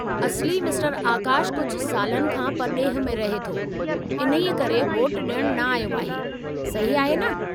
असली मिस्टरु आकाशु कुझु सालनि खां परॾेह में रहे थो, इन्हीअ करे वोट ॾियणु न आयो आहे, सही आहे न?